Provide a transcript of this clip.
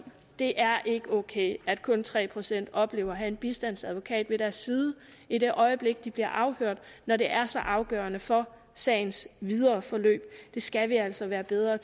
det er ikke okay at kun tre procent oplever at have en bistandsadvokat ved deres side i det øjeblik de bliver afhørt når det er så afgørende for sagens videre forløb det skal vi altså gøre bedre